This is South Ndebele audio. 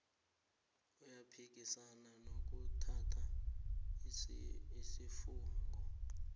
uyaphikisana nokuthatha isifungo